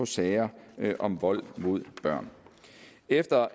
sager om vold mod børn efter